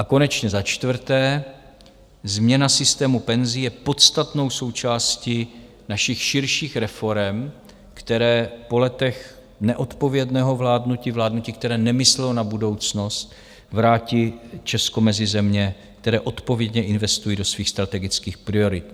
A konečně za čtvrté, změna systému penzí je podstatnou součástí našich širších reforem, které po letech neodpovědného vládnutí, vládnutí, které nemyslelo na budoucnost, vrátí Česko mezi země, které odpovědně investují do svých strategických priorit.